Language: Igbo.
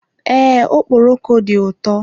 Ee, okpọroko dị ụtọ.